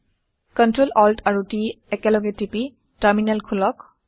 Ctrl Alt আৰু T একেলগে টিপি টাৰমিনেল খোলক